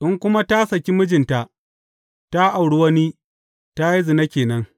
In kuma ta saki mijinta ta auri wani, ta yi zina ke nan.